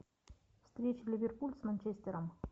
встреча ливерпуль с манчестером